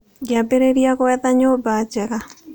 Ngĩambĩrĩria gwetha nyũmba njega.